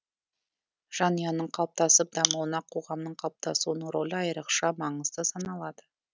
жанұяның қалыптасып дамуына қоғамның қалыптасуының рөлі айрықша маңызды саналады